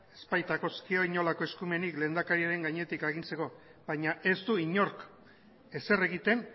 ez baitagozkio inolako eskumenik lehendakariaren gainetik agintzeko baina ez du inork ezer egiten